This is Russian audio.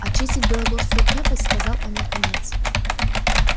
очистить белогорскую крепость сказал он наконец